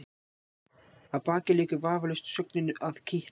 Að baki liggur vafalaust sögnin að kitla.